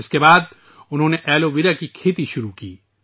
اس کے بعد انہوں نے ایلو ویرا کی کاشت شروع کی